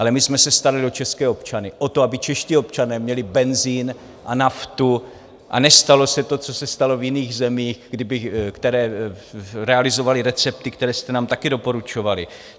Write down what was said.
Ale my jsme se starali o české občany, o to, aby čeští občané měli benzin a naftu a nestalo se to, co se stalo v jiných zemích, kde realizovali recepty, které jste nám taky doporučovali.